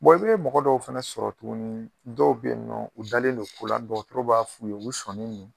i be mɔgɔ dɔw fɛnɛ sɔrɔ tuguni dɔw be yen nɔ u dalen don ko la, dɔgɔtɔrɔ b'a f'u ye u be sɔni ye